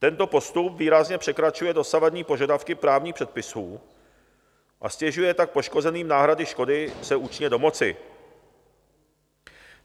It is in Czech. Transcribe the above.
Tento postup výrazně překračuje dosavadní požadavky právních předpisů, a ztěžuje tak poškozeným náhrady škody se účinně domoci.